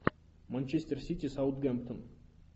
манчестер сити саутгемптон